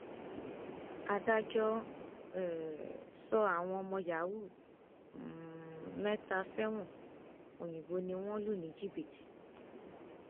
adájọ um sọ àwọn ọmọ yahoo um mẹta sẹwọn òyìnbó ni wọn lù ní jìbìtì